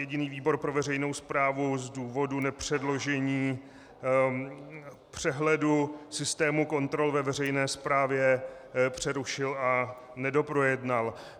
Jediný výbor pro veřejnou správu z důvodu nepředložení přehledu systému kontrol ve veřejné správě přerušil a nedoprojednal.